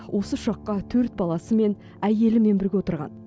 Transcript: осы ұшаққа төрт баласымен әйелімен бірге отырған